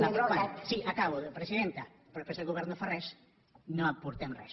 l’aproven sí acabo presidenta però després el govern no fa res no aportem res